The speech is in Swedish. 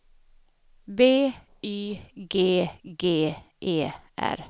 B Y G G E R